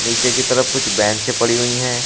नीचे की तरफ कुछ बैंच पड़ी हुई है।